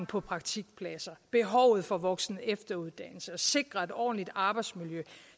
på praktikpladser behovet for voksen og efteruddannelse at sikre et ordentligt arbejdsmiljø at